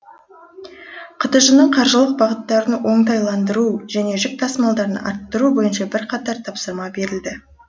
қтж ның қаржылық бағыттарын оңтайландыру және жүк тасымалын арттыру бойынша бірқатар тапсырма берілді